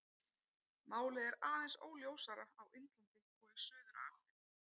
Málið er aðeins óljósara á Indlandi og í Suður-Afríku.